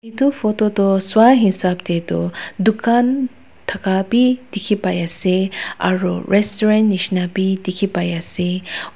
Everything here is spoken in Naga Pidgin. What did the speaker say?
edu photo tu swahisap tae tu dukan thaka bi dikhipaiase aru restaurant nishina bi dikhipaiase.